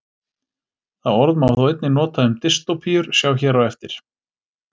Það orð má þó einnig nota um dystópíur, sjá hér á eftir.